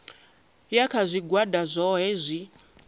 ya kha zwigwada zwohe zwi